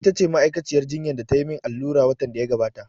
Ita ce ma'aikaciyar jinya da ta yi min allura watan da ya gabata.